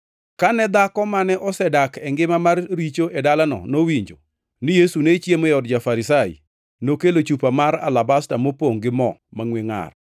Kane dhako mane osedak e ngima mar richo e dalano nowinjo ni Yesu ne chiemo e od ja-Farisai, nokelo chupa mar alabasta mopongʼ gi mo mangʼwe ngʼar,